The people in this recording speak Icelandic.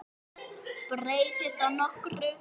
Breytir það nokkru?